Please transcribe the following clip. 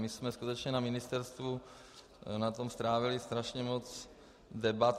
My jsme skutečně na ministerstvu na tom strávili strašně moc debat.